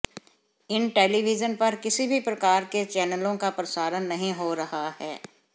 इन television पर किसी भी प्रकार के चैनलों का प्रसारण नहीं हो रहा है